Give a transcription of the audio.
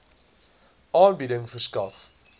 aanbieding verskaf